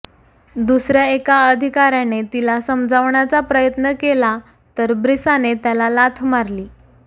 दुसऱ्या एका अधिकाऱ्याने तिला समजावण्याचा प्रयत्न केला तर ब्रिसाने त्याला लाथ मारली